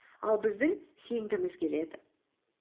ал біздің сенгіміз келеді